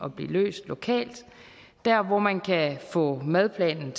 at blive løst lokalt der hvor man kan få madplanen